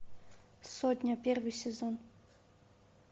сотня первый сезон